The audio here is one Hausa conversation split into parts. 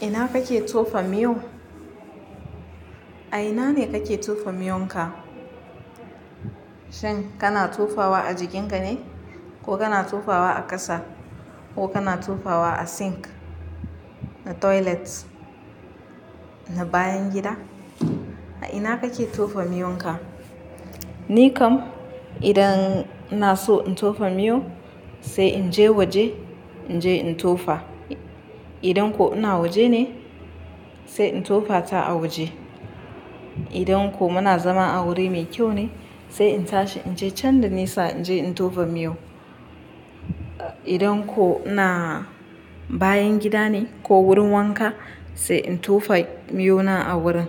Ina kake tofa miyo? A ina ne kake tofa miyonka? Shan kana tofawa a jikinka ne, ko kana tofawa a ƙasa, ko kana tofawa a sink, na toilet, na bayan gida? A ina kake tofa miyonka? Ni kam idan ina so in tofa miyo, sai in je waje, in je in tofa. Idan ko ina waje ne, sai in tofata a waje. Idan ko muna zama a wuri mai kyau ne, sai in tashi in je can da nisa in je in tofa miyo. Idan ko ina bayan gida ne ko wurin wanka, sai in tofa miyo na a wurin.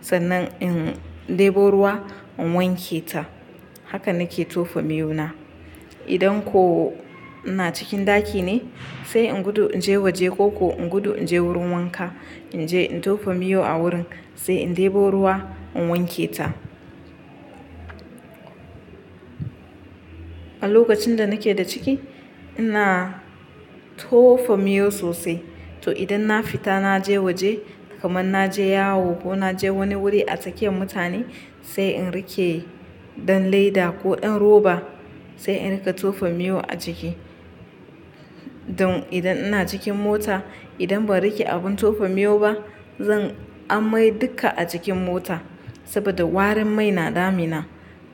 Sannan in debo ruwa in wanke ta. Haka nake tofa miyo na. Idan ko ina cikin ɗaki ne, sai in gudu in je waje ko ko in gudu in je wurin wanka, in je in tofa miyo a wurin, sai in debo ruwa in wanke ta. A lokacin da nake da ciki, ina tofa miyo sosai. To idan na fita na je waje, kamar na je yawo ko na je wani wuri a tsakiyar mutane, sai in rike ɗan leda ko ɗan roba, sai in rika tofa miyo a jiki. Don idan ina cikin mota, idan ba rike abin tofa miyo ba, zan amai duka a cikin mota. Saboda warin mai na damina.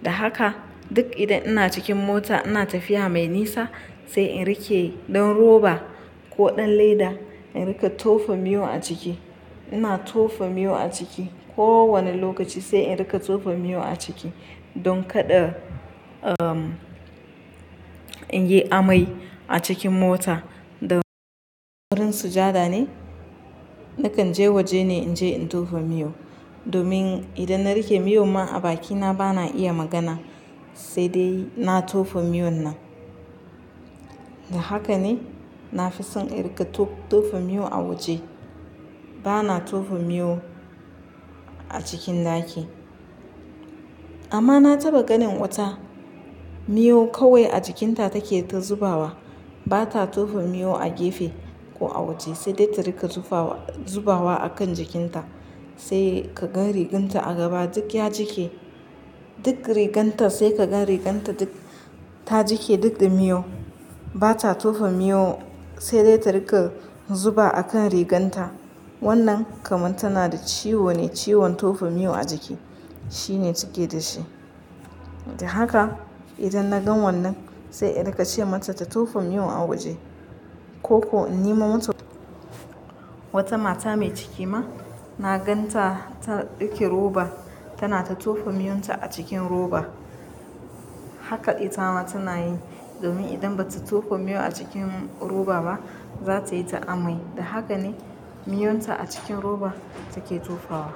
Da haka duk idan ina cikin mota ina tafiya mai nisa, sai in rike ɗan roba ko ɗan leda, in rika tofa miyo a jiki. Ina tofa miyo a jiki kowane lokaci sai in rika tofa miyo a ciki don kada, umm, in yi amai a cikin mota. Da wurin sujada ne, nakan je waje ne in je in tofa miyo. Domin idan na rike miyo ma a bakina bana iya magana, sai dai na tofa miyon nan. Da haka ne na fi son in rika to-tofa miyo a waje. Bana tofa miyo a cikin ɗaki. Amma na taɓa ganin wata, miyo kawai a jikinta take ta zubawa. Ba ta tofa miyo a gefe ko a waje, sai dai ta rika zubawa, zubawa a kan jikinta. Sai ka gan riganta a gaba duk ya jike. Duk riganta sai ka gan riganta duk ta jike duk da miyau. Ba ta tofa miyo sai dai ta rika zuba a kan rigunta. Wannan kamar tana da ciwo ne, ciwon tofa miyo a jiki. Shine suke da shi. Da haka idan na gan wannan, sai in rika ce mata ta tofa miyo a waje. Ko ko in nemo ma mata Wata mata mai ciki ma na gan ta, ta ɗauki roba, tana ta tofa miyon ta a cikin roba. Haka ita ma tana yi domin idan ba ta tofa miyo a cikin roba ba, za ta yi ta amai. Da haka ne miyon ta a cikin roba take tofawa.